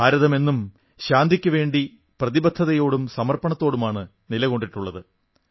ഭാരതം എന്നും ശാന്തിക്കുവേണ്ടി പ്രതിബദ്ധതയോടും സമർപ്പണത്തോടുമാണ് നിലകൊണ്ടിട്ടുള്ളത്